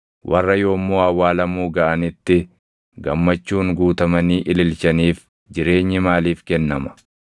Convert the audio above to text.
warra yommuu awwaalamuu gaʼanitti gammachuun guutamanii ililchaniif jireenyi maaliif kennama?